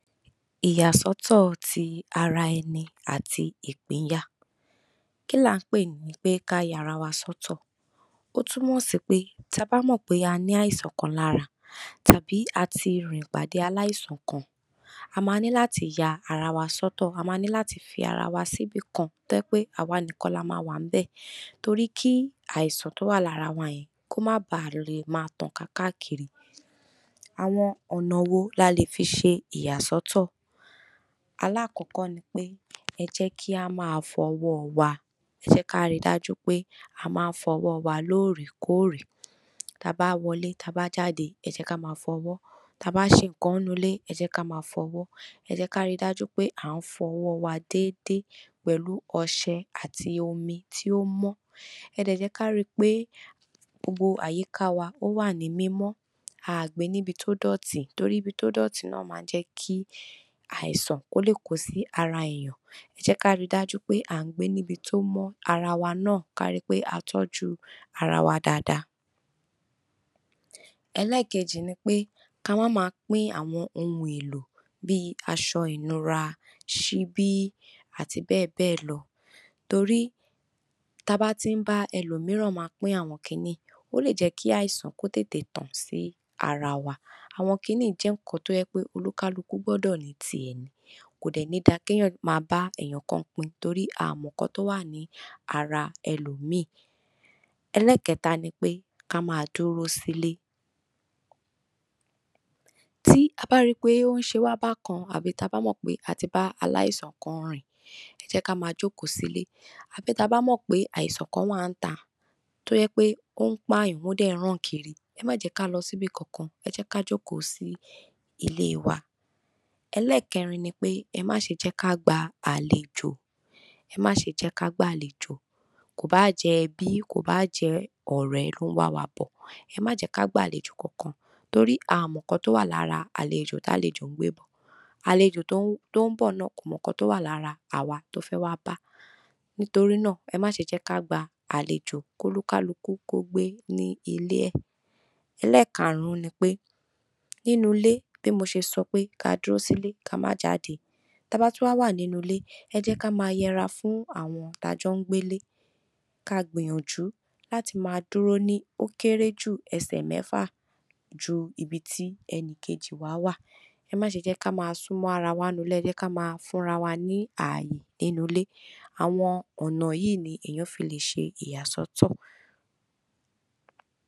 Ìyàsọ́tò ti Ara Ẹni àti Ìpínya Kí ni a ń pè ní kí aya ara wa sọ́tò? Ó tún mọ́ sí pé tá a bá mọ̀ pé a ní àìsàn kan lára tàbí pé a ti bá aláìsàn kan pàdé, a máa ní láti yà ara wa sọ́tò. A máa ní láti fi ara wa sí ibi kan tó jẹ́ pé a wà nìkan làmáa wà níbẹ̀, torí kí àìsàn tó wà lára wa yìí má bà a léè má tàn káàkiri. Àwọn ọ̀nà wo ni a lè fi ṣe ìyàsọ́tò? Àkọ́kọ́ ni pé: Ẹ jẹ́ kí a máa fọ ọwọ́ wa; ẹ jẹ́ ká rí dájú pé a máa fọ ọwọ́ lórí kóòrí tá a bá wọlé, tá a bá jáde. Ẹ jẹ́ ká máa fọ ọwọ́ tá a bá ń ṣe nkan nínú ilé. Ẹ jẹ́ ká máa fọ ọwọ́; ẹ jẹ́ ká rí dájú pé a ń fọ ọwọ́ wa dáadáa pẹ̀lú ọṣẹ àti omi tó mọ́. Ẹ tún jẹ́ ká rí pé gbogbo àyíká wa wà ní mímọ́. A ò gbọ́dọ̀ gbé ní ibi tí ó dùtí, torí ibi tí ó dùtí náà máa ń jẹ́ kí àìsàn kó lẹ̀kọ̀ sí ara ènìyàn. Ẹ jẹ́ ká rí dájú pé a ń gbé ní ibi tó mọ́, ara wa náà ká rí pé a ń tọ́jú ara wa dáadáa. Èkejì ni pé: Ká máa máa pín àwọn ohun èlò bí aṣọ ìnura, ṣíbí, àti bẹ́ẹ̀ bẹ́ẹ̀ lọ. Torí tá a bá ń bá ẹlòmíìrán pín àwọn nkan yìí, ó lè jẹ́ kí àìsàn kó tán sí ara wa. Àwọn nkan yìí jẹ́ nkan tó yẹ kí oní kálukú ní tiẹ̀, kó má bà á jẹ́ kí ènìyàn máa bá ẹlòmíì pín, torí a ò mọ̀ nkan tí ó wà nínú ara ẹlòmíì. Ẹkẹta ni pé: Ká má duro s’ílẹ̀ tí a bá rí i pé o ń ṣe wa bákan, tàbí tá a bá mọ̀ pé a ti bá aláìsàn kan rìn, ẹ jẹ́ ká má jókòó sílẹ̀. Tàbí tá a bá mọ̀ pé àìsàn kan wà níta tó ń pa ènìyàn, tó sì ń ràn kiri, ẹ má jẹ́ ká lọ sí íbí kankan; ẹ jẹ́ ká jókòó sí ilé wa. Ẹkẹrin ni pé: Ẹ má ṣe jẹ́ ká gba àlejò. Ẹ má ṣe jẹ́ ká gba àlejò, bóyá ẹbí ni, bóyá ọ̀rẹ́ ni tó ń wá wa bọ. Ẹ má jẹ́ kí a gba àlejò kankan, torí a ò mọ̀ nkan tí ó wà nínú ara àlejò tí àlejò ń gbé bọ. Àlejò tó ń bọ náà, a ò mọ̀ ohun tó wà lárá wa tó fẹ́ wá bá, nítorí náà, ẹ má ṣe jẹ́ ká gba àlejò, kó oní kálukú gbé ní ilé ẹ̀. Ẹkarùn-ún ni pé: Nínú ilé, bí mo ṣe sọ pé ká dúró s’ílẹ̀, ká má jáde. Tá a bá tún wà nínú ilé, ẹ jẹ́ ká má yára fún àwọn tá a jọ ń gbé ilé; ká gbìyànjú láti máa dúró ní òkèèrè jù ẹsẹ̀ mẹ́fà sí ibi tí ẹnikeíì wà. Ẹ má ṣe jẹ́ kí a má sun mọ ara wa nínú ilé; ẹ jẹ́ ká fún ara wa ní àyè. Àwọn ọ̀nà yìí ni ènìyàn fi lè ṣe ìyàsọ́tò.